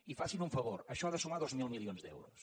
i facin un favor això ha de sumar dos mil milions d’euros